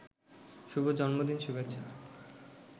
শুভ জন্মদিন শুভেচ্ছা